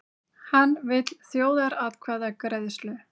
Hann vill þjóðaratkvæðagreiðslu